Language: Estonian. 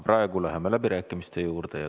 Praegu läheme läbirääkimiste juurde.